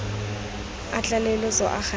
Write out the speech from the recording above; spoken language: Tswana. a tlaleletso a gantsi a